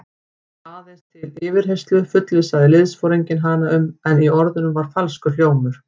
Aðeins til yfirheyrslu fullvissaði liðsforinginn hann um, en í orðunum var falskur hljómur.